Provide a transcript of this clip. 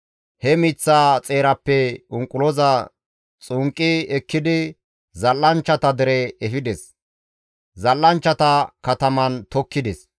He miththaza xeerappe unquloza xunqqi ekkidi zal7anchchata dere efides; zal7anchchata kataman tokkides.